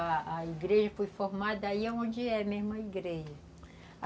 Aí a igreja foi formada, aí é onde é mesmo a igreja.